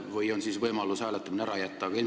Või on siis võimalus hääletamine ära jätta?